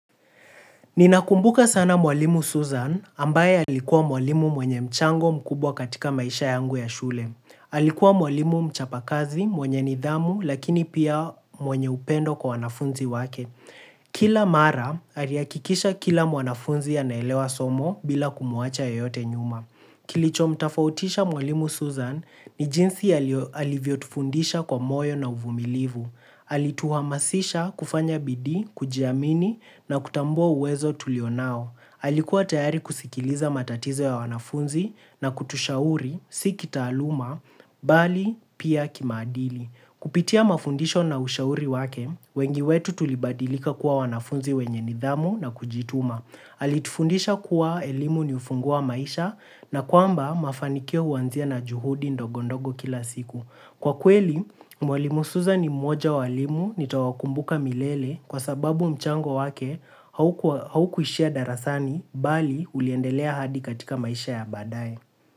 Ninakumbuka sana mwalimu Susan ambaye alikuwa mwalimu mwenye mchango mkubwa katika maisha yangu ya shule. Alikuwa mwalimu mchapakazi mwenye nidhamu lakini pia mwenye upendo kwa wanafunzi wake. Kila mara alihakikisha kila mwanafunzi anaelewa somo bila kumuacha yeyote nyuma. Kilicho mtafautisha mwalimu Susan ni jinsi alivyotufundisha kwa moyo na uvumilivu. Alituhamasisha kufanya bidii, kujiamini na kutambua uwezo tulio nao. Alikuwa tayari kusikiliza matatizo ya wanafunzi na kutushauri, si kitaaluma, bali pia kimaadili. Kupitia mafundisho na ushauri wake, wengi wetu tulibadilika kuwa wanafunzi wenye nidhamu na kujituma. Alitufundisha kuwa elimu ni ufunguo wa maisha na kwamba mafanikio huanzia na juhudi ndogo ndogo kila siku. Kwa kweli, mwalimu suzan ni mmoja wa walimu nitawakumbuka milele kwa sababu mchango wake haukuishia darasani bali uliendelea hadi katika maisha ya baadaye.